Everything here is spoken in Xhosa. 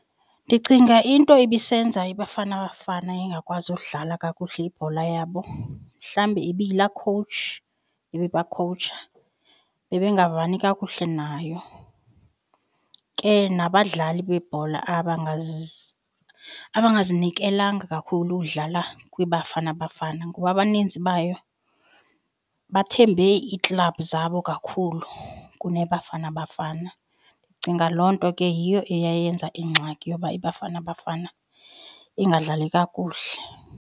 Ndicinga into ibisenza iBafana Bafana ingakwazi udlala kakuhle ibhola yabo mhlawumbi ibiyilaa khowutshi ibibakhowutsha bebe ngavani kakuhle nayo. Ke nabadlali bebhola abangazinikelanga kakhulu ukudlala kwiBafana Bafana ngoba abaninzi bayo bathembe iiklabhu zabo kakhulu kuneBafana Bafana. Ndicinga loo nto ke yiyo eyayenza ingxaki yoba iBafana Bafana ingadlali kakuhle.